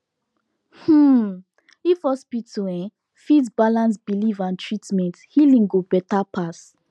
um if hospital um fit balance belief and treatment healing go better pass